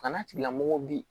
Kana tigilamɔgɔw bɛ yen